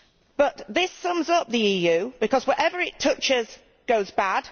But this sums up the EU because whatever it touches goes bad